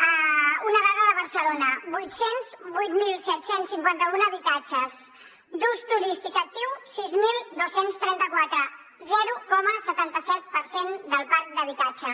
una dada de barcelona vuit cents i vuit mil set cents i cinquanta un habitatges d’ús turístic actiu sis mil dos cents i trenta quatre zero coma setanta set per cent del parc d’habitatge